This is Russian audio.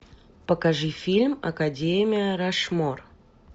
покажи фильм академия рашмор